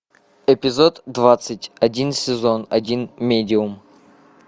эпизод двадцать один сезон один медиум